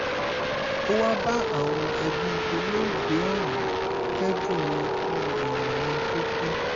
ó wáá bá àwọn ẹbí olóògbé ọ̀hún kẹ́dùn ikú èèyàn wọn tó kú